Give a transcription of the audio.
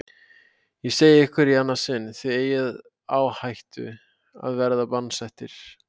Ég segi ykkur í annað sinn: Þið eigið á hættu að verða bannsettir.